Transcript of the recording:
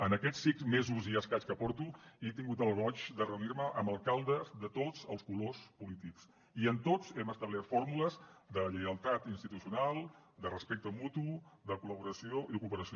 en aquests cinc mesos i escaig que porto he tingut el goig de reunir me amb alcaldes de tots els colors polítics i amb tots hem establert fórmules de lleialtat institucional de respecte mutu de col·laboració i de cooperació